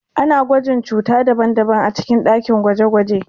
Ana gwajin cuta daban-daban a cikin dakin gwaje-gwaje.